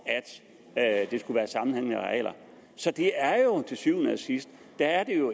at det skulle være sammenhængende arealer så det er jo til syvende og sidst